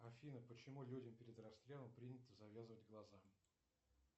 афина почему людям перед расстрелом принято завязывать глаза